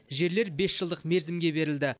жерлер бес жылдық мерзімге берілді